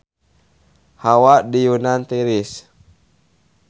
Hawa di Yunan tiris